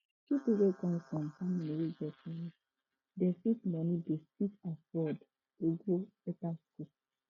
pipo wey come from family wey get money dey fit money dey fit afford to go better school